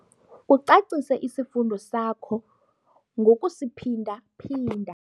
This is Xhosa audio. Ucacise isifundo sakho ngokusiphinda-phinda.